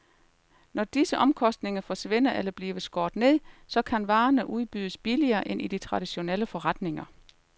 Når disse omkostninger forsvinder eller bliver skåret ned, så kan varerne udbydes billigere end i de traditionelle forretninger.